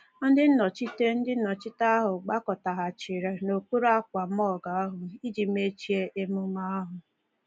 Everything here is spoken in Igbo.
Ndị nnọchiteanya Ndị nnọchiteanya ahụ gbakọtaghachiri n’okpuru ákwà marquee ahụ iji mechie ememe ahụ.